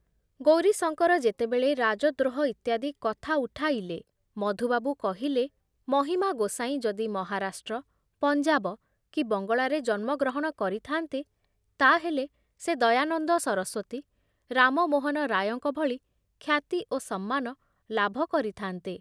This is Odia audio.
ଗୌରୀଶଙ୍କର ଯେତେବେଳେ ରାଜଦ୍ରୋହ ଇତ୍ୟାଦି କଥା ଉଠାଇଲେ, ମଧୁବାବୁ କହିଲେ, ମହିମା ଗୋସାଇଁ ଯଦି ମହାରାଷ୍ଟ୍ର, ପଞ୍ଜାବ କି ବଙ୍ଗଳାରେ ଜନ୍ମଗ୍ରହଣ କରିଥାନ୍ତେ ତାହେଲେ ସେ ଦୟାନନ୍ଦ ସରସ୍ବତୀ, ରାମମୋହନ ରାୟଙ୍କ ଭଳି ଖ୍ୟାତି ଓ ସମ୍ମାନ ଲାଭ କରିଥାନ୍ତେ ।